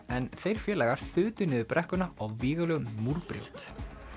en þeir félagar þutu niður brekkuna á vígalegum múrbrjót